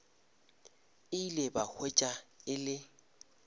ile ba hwetša e le